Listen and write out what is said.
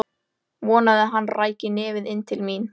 Vonaði að hann ræki nefið inn til mín.